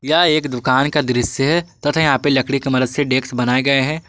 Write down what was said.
यह एक दुकान का दृश्य बनाया गया है तथा यहां पे लकड़ी की मदद से डेस्क बनाए हुए हैं।